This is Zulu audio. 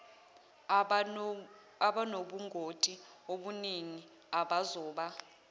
abanobungoti obuningi abazoba